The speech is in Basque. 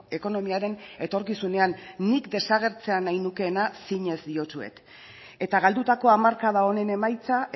ekonomiaren etorkizunean nik desagertzea nahi nukeena zinez diotsuet eta galdutako hamarkada honen emaitza